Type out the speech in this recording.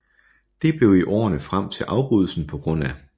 Det blev i årene frem til afbrydelsen pga